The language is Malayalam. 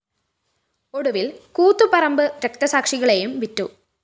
ഒടുവില്‍ കൂത്തുപറമ്പ് രക്തസാക്ഷികളെയും വിറ്റു